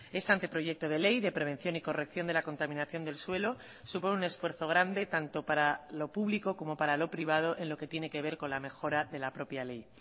este anteproyecto de ley de prevención y corrección de la contaminación del suelo supone un esfuerzo grande tanto para lo público como para lo privado en lo que tiene que ver con la mejora de la propia ley